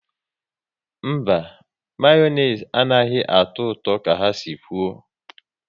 Mba, Mayonezi anaghị atọ ụtọ ka ha si kwụ